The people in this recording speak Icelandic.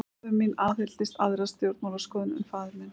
Móðir mín aðhylltist aðra stjórnmálaskoðun en faðir minn.